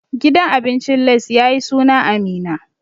Gidan abincin Lace ya yi suna a Minna.